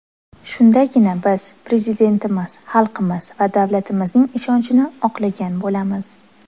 Shundagina biz Prezidentimiz, xalqimiz va davlatimizning ishonchini oqlagan bo‘lamiz.